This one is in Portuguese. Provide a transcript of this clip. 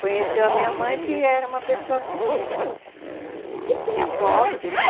Conheceu a minha mãe, que era uma pessoa que que tinha posse, né?